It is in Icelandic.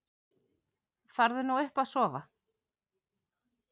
Farðu nú upp að sofa.